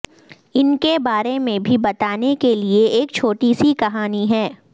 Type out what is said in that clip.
ان کے بارے میں بھی بتانے کے لئے ایک چھوٹی سی کہانی ہے